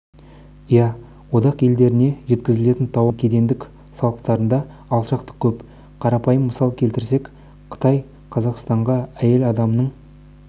иә одақ елдеріне жеткізілетін тауарлардың кедендік салықтарында алшақтық көп қарапайым мысал келтірсек қытай қазақстанға әйел адамның